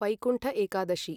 Vaikuntha Ekadashi